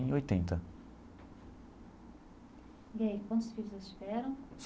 Em oitenta. E aí, quantos filhos eles tiveram?